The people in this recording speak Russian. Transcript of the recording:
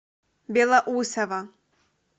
белоусово